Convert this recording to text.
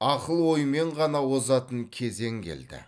ақыл оймен ғана озатын кезең келді